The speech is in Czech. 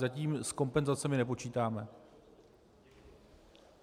Zatím s kompenzacemi nepočítáme.